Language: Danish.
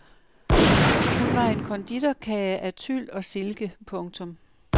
Hun var en konditorkage af tyl og silke. punktum